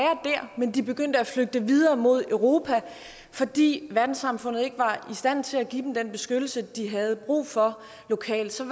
men de begyndte at flygte videre mod europa fordi verdenssamfundet ikke var i stand til at give dem den beskyttelse de havde brug for lokalt så